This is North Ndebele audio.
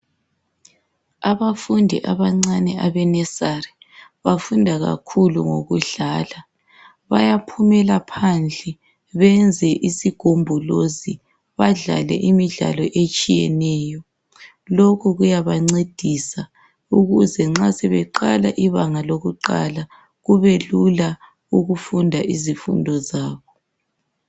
Abafundi abancane abe "Nusery" bafunda kakhulu ngokudlala, bayaphumela phandle beyenze isigombolozi badlale imidlalo etshiyeneyo, lokho kuyabancedisa ukuze nxa sebeqala ibanga lokuqala kubelula ukufunda izifundo zabo.